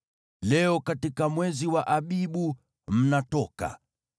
Leo, katika mwezi wa Abibu, mnatoka.